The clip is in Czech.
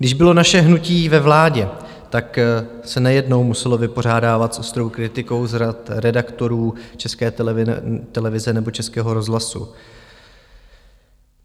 Když bylo naše hnutí ve vládě, tak se nejednou muselo vypořádávat s ostrou kritikou z řad redaktorů České televize nebo Českého rozhlasu.